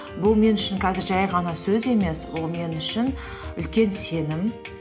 бұл мен үшін қазір жай ғана сөз емес бұл мен үшін үлкен сенім